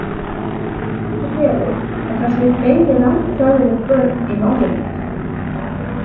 En getur verið að það séu fleiri rangfeðruð börn í málinu?